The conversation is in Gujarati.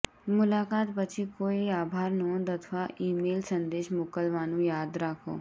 મુલાકાત પછી કોઈ આભાર નોંધ અથવા ઇમેઇલ સંદેશ મોકલવાનું યાદ રાખો